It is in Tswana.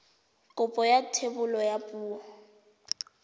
kopo ya thebolo ya poo